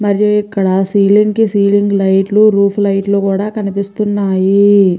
మరి ఇక్కడ సీలింగ్ కి సీలింగ్ లైట్ లు రూఫ్ కి రూఫ్ లైట్ లు కూడా కనిపిస్తున్నాయి.